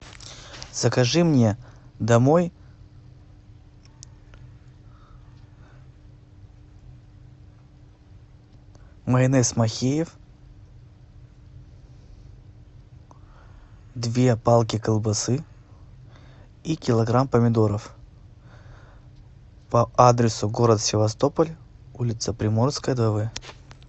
закажи мне домой майонез махеев две палки колбасы и килограмм помидоров по адресу город севастополь улица приморская два в